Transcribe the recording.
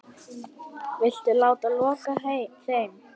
Viltu láta loka þeim?